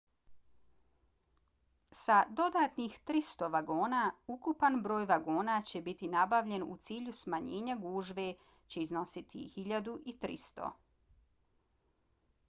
sa dodatnih 300 vagona ukupan broj vagona koji će biti nabavljen u cilju smanjenja gužve će iznositi 1.300